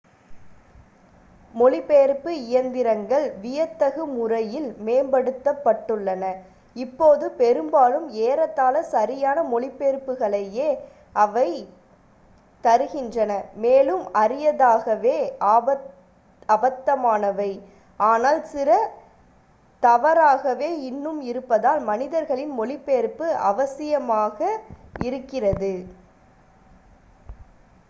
மொழிபெயர்ப்பு இயந்திரங்கள் வியத்தகு முறையில் மேம்பட்டுள்ளன இப்போது பெரும்பாலும் ஏறத்தாழ சரியான மொழிபெயர்ப்புகளையே அவைத் மேலும் அரிதாகவே அபத்தமானவை தருகின்றன ஆனால் சில தவறாகவே இன்னும் இருப்பதால் மனிதர்களின் மொழிபெயர்ப்பு அவசியாமாக இருக்கிறது